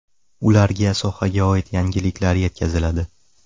Ularga sohaga oid yangiliklar yetkaziladi.